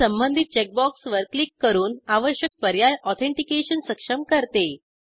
मी संबंधित चेकबॉक्सवर क्लिक करून आवश्यक पर्याय ऑथेंटिकेशन सक्षम करते